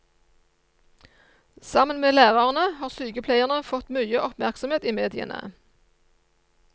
Sammen med lærerne har sykepleierne fått mye oppmerksomhet i mediene.